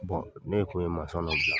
ne ye kun ye mansɔn dɔ bila,